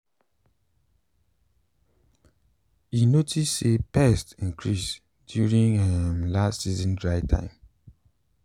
e notice say pests increase during um last season dry time.